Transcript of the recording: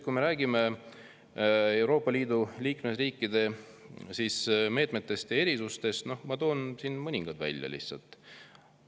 Kui me räägime Euroopa Liidu liikmesriikide meetmetest ja erisustest, siis ma toon siin mõningad lihtsalt välja.